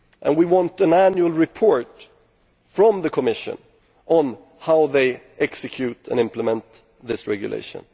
We want an annual report from the Commission on how they execute and implement this regulation.